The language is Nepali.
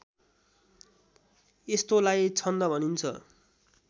यस्तोलाई छन्द भनिन्छ